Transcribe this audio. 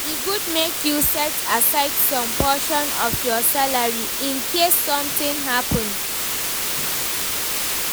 e good make u set aside some portion of your salary Incase something happen